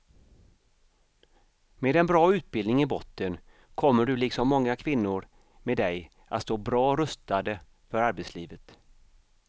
Med en bra utbildning i botten kommer du liksom många kvinnor med dig att stå bra rustade för arbetslivet.